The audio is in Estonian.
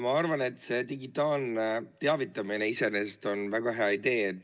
Ma arvan, et digitaalne teavitamine on iseenesest väga hea idee.